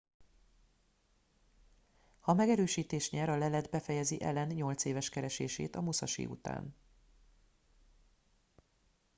ha megerősítést nyer a lelet befejezi allen nyolc éves keresését a musashi után